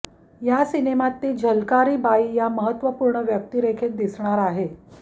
या सिनेमात ती झलकारी बाई या महत्त्वपूर्ण व्यक्तिरेखेत दिसणार आहे